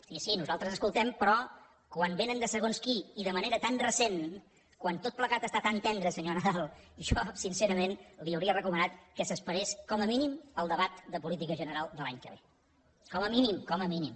i sí nosaltres escoltem però quan vénen de segons qui i de manera tan recent quan tot plegat està tan tendre senyor nadal jo sincerament li hauria recomanat que s’esperés com a mínim al debat de política general de l’any que ve com a mínim com a mínim